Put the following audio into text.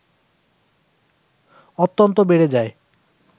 অত্যন্ত বেড়ে যায়